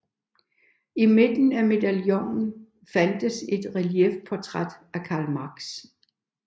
I midten af medaljongen fandtes et reliefportræt af Karl Marx